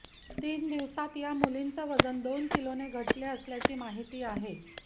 तीन दिवसात या मुलींचं वजन दोन किलोने घटले असल्याची माहिती आहे